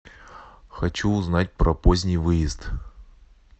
хочу узнать про поздний выезд